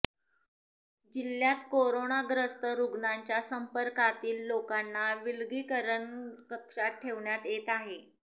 जिल्ह्यात कोरोनाग्रस्त रुग्णाच्या संपर्कातील लोकांना विलगीकरण कक्षात ठेवण्यात येत आहे